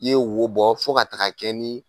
I ye wo bɔ fo ka taga kɛ ni